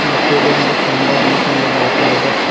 ಮತ್ತು ಇಲ್ಲಿ ಒಂದು ಕಂಬವನ್ನು ಕಂಡುಬರುತಾಇದೆ.